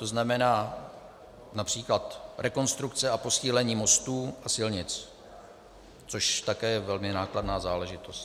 To znamená například rekonstrukce a posílení mostů a silnic, což také je velmi nákladná záležitost.